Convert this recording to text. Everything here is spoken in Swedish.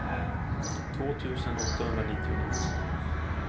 två tusen åttahundranittionio